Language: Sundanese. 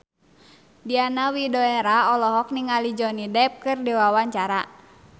Diana Widoera olohok ningali Johnny Depp keur diwawancara